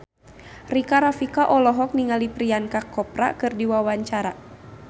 Rika Rafika olohok ningali Priyanka Chopra keur diwawancara